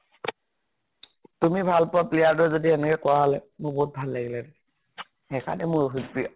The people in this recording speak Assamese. তুমি ভাল পোৱা player টো যদি এনেকে কৰা হলে মোৰ বিহুত ভাল লাগিলে হেতেন। সেই কাৰণে ৰহিত মোৰ প্ৰিয়।